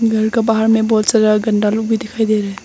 घर का बाहर में बहुत सारा गंदा लोग भी दिखाई दे रहे है।